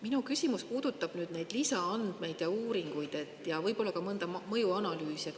Minu küsimus puudutab neid lisaandmeid ja uuringuid ja võib-olla ka mõnda mõjuanalüüsi.